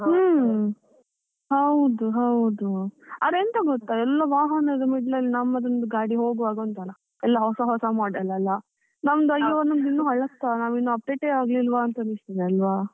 ಹ್ಮ್, ಹೌದು ಹೌದು ಅದೆಂತ ಗೊತ್ತ ಎಲ್ಲ ವಾಹನದ middle ಅಲ್ಲಿ ನಮ್ಮದೊಂದು ಗಾಡಿ ಹೋಗುವಾಗ ಉಂಟಲ, ಎಲ್ಲಾ ಹೊಸ ಹೊಸ model ಅಲ ನಮ್ದು ಅಯ್ಯೊ ನಮ್ದು ಇನ್ನು ಹಳತ್ತಾ, ನಾವ್ ಇನ್ನು update ಯೇ ಆಗಿಲ್ವ ಅಂತ ಅನಿಸ್ತದೆ ಅಲ್ವ.